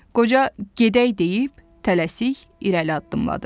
Qoca “Gedək!” deyib tələsik irəli addımladı.